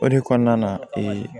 O de kɔnɔna na